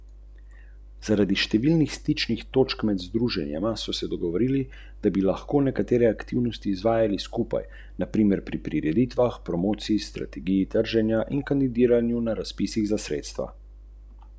Zapisi v njej so tudi v nemščini, italijanščini, latinščini, grščini in celo hebrejščini.